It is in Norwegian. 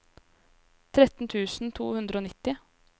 tretten tusen to hundre og nitti